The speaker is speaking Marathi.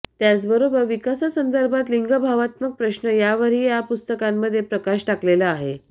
त्याचबरोबर विकासासंदर्भात लिंगभावात्मक प्रश्न यावरही या पुस्तकामध्ये प्रकाश टाकलेला आहे